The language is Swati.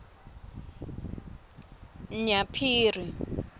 nyaphiri